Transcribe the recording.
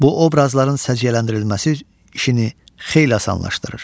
Bu obrazların səciyyələndirilməsi işini xeyli asanlaşdırır.